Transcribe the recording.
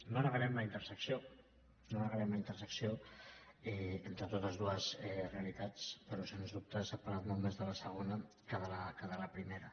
no negarem la intersecció no negarem la intersecció entre totes dues realitats però sens dubte s’ha parlat molt més de la segona que de la primera